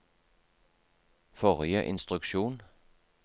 forrige instruksjon